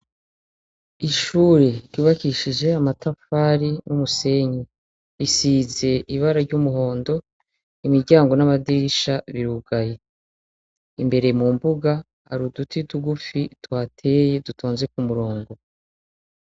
Ishure ryubakishijwe amatafari numusenyi bisize ibara ryumuhondo imiryango namadirisha birugaye imbere mumbuga hari uduti tugufi tuhateye dutonze kumurongo